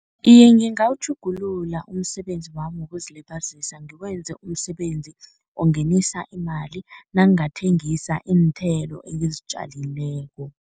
Iye, ngingawutjhugulula umsebenzi wami wokuzilibazisa ngiwenze umsebenzi ongenisa imali, nangingathengisa iinthelo engizitjalileko.